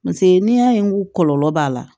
Paseke n'i y'a ye n ko kɔlɔlɔ b'a la